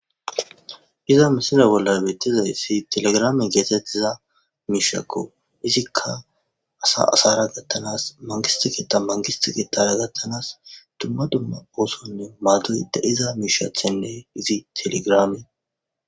Iza misile bolla betidayisi telegram gida mishako izika assa assara gathanasi manigisite ketha oso gathanasi duma duma oso madiza misha tene izi telegram